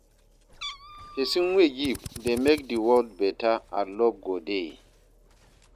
Pesin wey give dey mek di world beta and luv go dey.